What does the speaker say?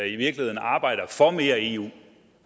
i virkeligheden arbejder for mere eu